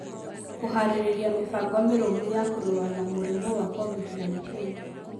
Kũhaarĩria mĩbango mĩrũmu ya kũrũa na mũrimũ wa Covid-19